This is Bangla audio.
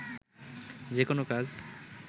যেকোনো কাজ